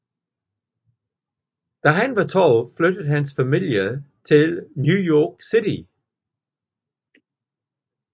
Da han var 12 flyttede hans familie til New York City